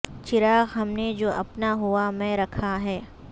چراغ ہم نے جو اپنا ہوا میں رکھا ہے